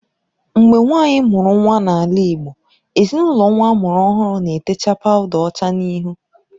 Mgbe nwaanyị mụrụ n’ala Igbo, ezinaụlọ nwa a mụrụ ọhụrụ na-etecha pawuda ọcha n’ihu